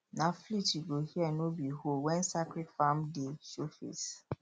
na flute you go hear no be hoe when sacred farm day show face